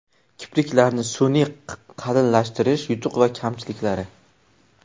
Kipriklarni sun’iy qalinlashtirish: yutuq va kamchiliklari.